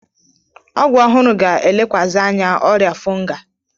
Ọgwụ ọhụrụ ga-elekwasị anya ọrịa fonga.